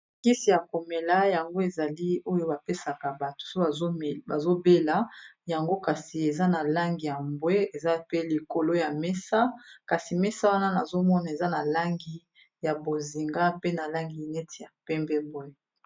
mokisi ya komela yango ezali oyo bapesaka bato so bazobela yango kasi eza na langi ya mbwe eza pe likolo ya mesa kasi mesa wana nazomona eza na langi ya bozinga pe na langi neti ya pembe boye